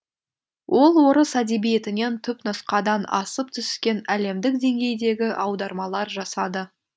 ол орыс әдебиетінен түпнұсқадан асып түскен әлемдік деңгейдегі аудармалар жасады